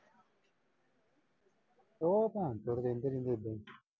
ਦੋ ਪੁਹੰਚ ਜਿਹੜੀ ਤੇਰੀ ਬੇਬੇ ਦੀ।